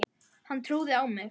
Hún trúði á mig.